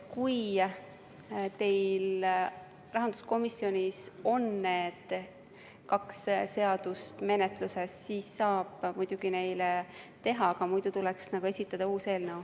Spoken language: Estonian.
Kui teil rahanduskomisjonis on need kaks seadust menetluses, siis saab muidugi seda teha, muidu tuleks esitada uus eelnõu.